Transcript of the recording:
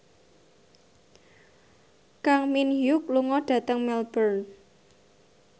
Kang Min Hyuk lunga dhateng Melbourne